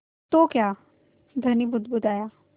तो क्या धनी बुदबुदाया